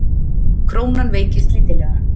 Krónan veikist lítillega